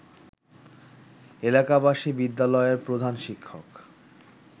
এলাকাবাসী বিদ্যালয়ের প্রধান শিক্ষক